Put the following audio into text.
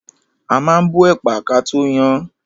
A ma ń bọ ẹ̀pà kató yan án.